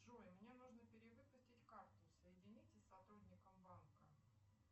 джой мне нужно перевыпустить карту соедините с сотрудником банка